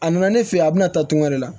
A nana ne fɛ yen a bɛna taa tunga de la